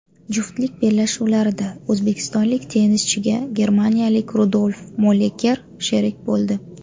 Juftlik bellashuvlarida o‘zbekistonlik tennischiga germaniyalik Rudolf Molleker sherik bo‘ldi.